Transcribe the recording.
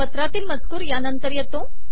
पत्रातील मजकूर यानंतर येतो